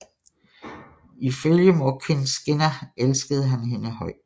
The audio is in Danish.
Ifølge Morkinskinna elskede han hende højt